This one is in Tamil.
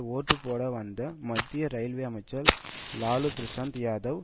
ஓட்டு போட வந்த மத்திய ரயில்வே அமைச்சர் லல்லு பிரசாத் யாதவ்